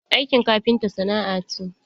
Aiki kafinta sana'a ce.